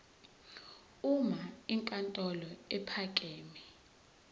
uma inkantolo ephakeme